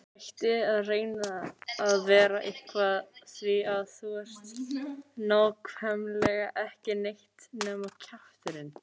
Hættu að reyna að vera eitthvað því að þú ert nákvæmlega ekki neitt nema kjafturinn.